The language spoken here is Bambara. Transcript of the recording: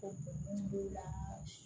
O b'o la